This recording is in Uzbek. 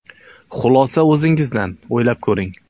Xulosa o‘zingizdan, o‘ylab ko‘ring.